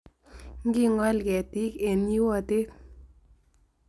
Ngekool keetiik eng' yiiwooteet